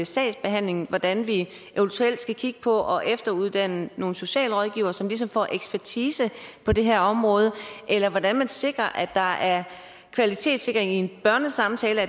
sagsbehandlingen hvordan vi eventuelt skal kigge på at efteruddanne nogle socialrådgivere som får ekspertise på det her område eller hvordan man sikrer at der er kvalitetssikring i en børnesamtale